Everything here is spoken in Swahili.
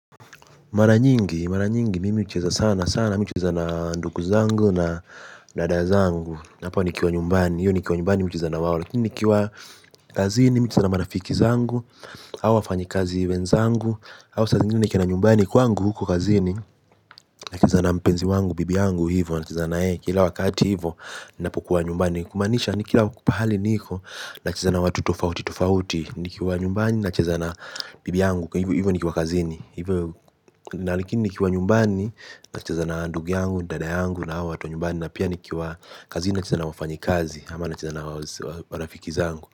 Mara nyingi, mara nyingi, mimi ucheza sana sana, mimi ucheza na nduku zangu na dada zangu. Napo nikiwa nyumbani, hiyo nikiwa nyumbani mimi ucheza na wawo. Lakini nikiwa kazini, mimi ucheza na marafiki zangu, hau wafanyi kazi wenzangu. Awu sa zingine nikienda nyumbani, kuangu huko kazini, nacheza na mpenzi wangu, bibi angu hivyo. Nacheza na ye, kila wakati hivyo, napokuwa nyumbani. Kumaanisha ni kila pahali niko, nacheza na watu tofauti, tofauti. Nikiwa nyumbani, nacheza na bibi yangu, hivyo nikiwa kazini. Hivyo na lakini nikiwa nyumbani nacheza na ndugu yangu, dada yangu na hao watu wa nyumbani. Na pia nikiwa kazini nacheza na wafanyi kazi ama nacheza na marafiki zangu.